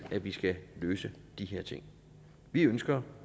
vi skal løse de her ting vi ønsker